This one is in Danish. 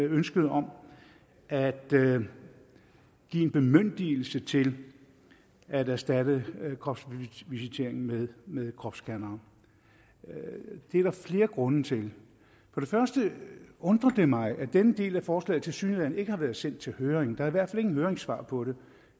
ønsket om at give en bemyndigelse til at erstatte kropsvisitering med med kropsscanning det er der flere grunde til for det første undrer det mig at denne del af forslaget tilsyneladende ikke har været sendt til høring der er i hvert fald ingen høringssvar på det